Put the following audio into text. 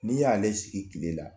N'i y'ale sigi tile la